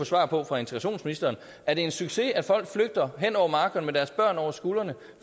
svar på fra integrationsministeren er det en succes at folk flygter hen over markerne med deres børn over skuldrene